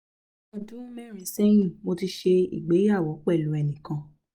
ní ọdún mẹrin sẹyin mo ti ṣe ìgbéyàwó pẹlu ẹni kan